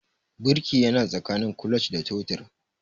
Birki yana tsakanin clutch da totir